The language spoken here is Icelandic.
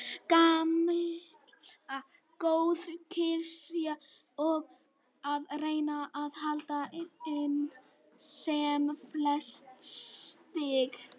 Gamla góða klisjan og að reyna að hala inn sem flest stig.